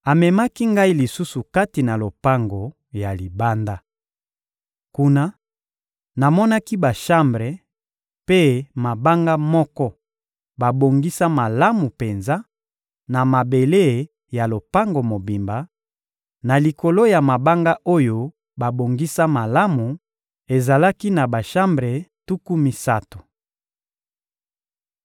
Amemaki ngai lisusu kati na lopango ya libanda. Kuna, namonaki bashambre mpe mabanga moko babongisa malamu penza, na mabele ya lopango mobimba; na likolo ya mabanga oyo babongisa malamu, ezalaki na bashambre tuku misato.